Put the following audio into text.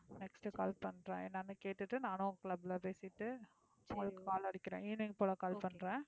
next call பண்றேன் என்னன்னு கேட்டுட்டு நானும் club ல பேசிட்டு உங்களுக்கு call அடிக்கிறேன் evening க்குள்ள call பண்றேன்.